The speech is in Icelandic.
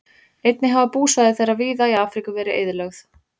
Einnig hafa búsvæði þeirra víða í Afríku verið eyðilögð.